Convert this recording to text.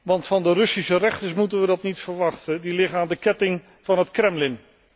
Want van de Russische rechters hoeven wij dat niet te verwachten, die liggen aan de ketting van het Kremlin.